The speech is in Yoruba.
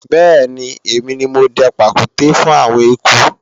bẹ́ẹ̀ni, èmi ni mo dẹ pàkúté fún àwọn eku